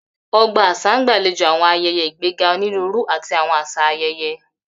Ogba aṣa n gbalejo awọn ayẹyẹ, igbega oniruuru ati awọn aṣa ayẹyẹ